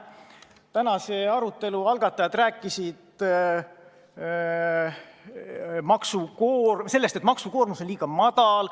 Tänase arutelu algatajad rääkisid sellest, et maksukoormus on liiga väike.